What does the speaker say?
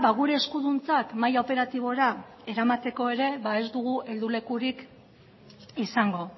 gure eskuduntzak mahai operatibora eramateko ere ez dugu heldulekurik izango